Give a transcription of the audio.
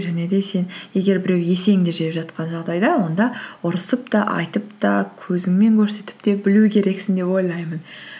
және де сен егер біреу есеңді жеп жатқан жағдайда онда ұрысып та айтып та көзіңмен көрсетіп те білу керексің деп ойлаймын